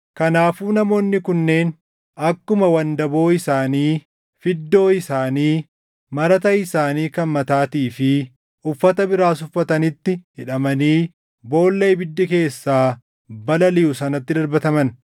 Kanaafuu namoonni kunneen akkuma wandaboo isaanii, fiddoo isaanii, marata isaanii kan mataatii fi uffata biraas uffatanitti hidhamanii boolla ibiddi keessaa balaliʼu sanatti darbataman.